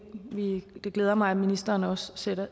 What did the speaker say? glæder mig at ministeren også sætter